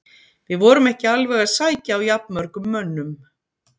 Við vorum ekki alveg að sækja á jafnmörgum mönnum.